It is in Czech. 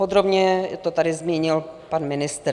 Podrobně to tady zmínil pan ministr.